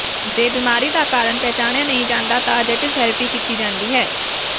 ਜੇ ਬੀਮਾਰੀ ਦਾ ਕਾਰਨ ਪਛਾਣਿਆ ਨਹੀਂ ਜਾਂਦਾ ਤਾਂ ਜਟਿਲ ਥੈਰੇਪੀ ਕੀਤੀ ਜਾਂਦੀ ਹੈ